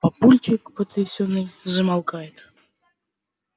папульчик потрясённый замолкает